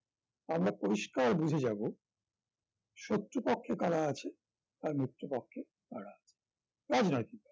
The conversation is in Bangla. আমরা পরিষ্কার বুঝে যাব শত্রু পক্ষে করা আছে আর মিত্র পক্ষে করা রাজনৈতিক